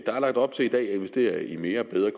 lagt op til at investere i mere og bedre